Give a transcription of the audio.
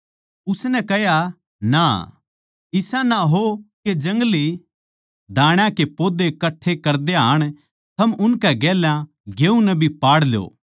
उसनै कह्या ना इसा ना हो के जंगली दाण्या के पौधे कट्ठे करदे हाण थम उनकै गेल्या गेहूँ नै भी पाड़ ल्यो